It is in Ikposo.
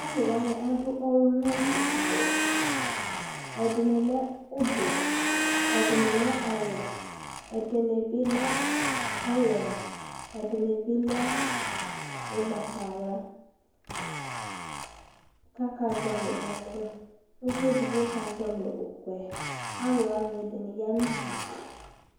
Alʋ wanɩ adʋ ɔlʋnaliawʋ Ɛdɩnɩ lɛ ʋblɔ, ɛdɩnɩ lɛ ɔwɛ Ɛdɩnɩ bɩ lɛ olandz, ɛdɩnɩ bɩ lɛ ʋgbatawla kʋ akazɔɣɔlɩ ɛkʋ Uvi edigbo ʋkʋ yɛ Alʋ wanɩ ɛdɩnɩ ya nʋ udu